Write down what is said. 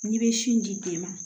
N'i bɛ sin di den ma